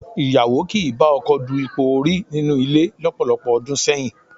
Ìyàwó kì í bá ọkọ du ipò orí nínú ilé lọ́pọ̀lọpọ̀ ọdún sẹ́yìn